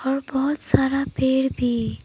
और बहुत सारा पेड़ भी--